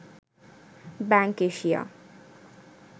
bank Asia